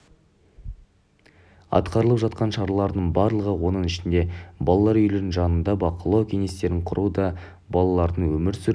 атқарылып жатқан шаралардың барлығы оның ішінде балалар үйлерінің жанында бақылау кеңестерін құру да балалардың өмір сүру